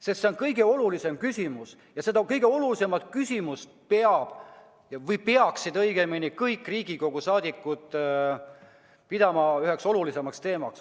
See on kõige olulisem küsimus ja seda kõige olulisemat küsimust peaksid kõik Riigikogu liikmed pidama üheks olulisimaks teemaks.